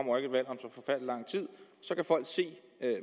så kan folk se